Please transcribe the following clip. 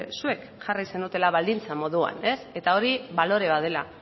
zuek jarri zenutela baldintza moduan eta hori balore bat dela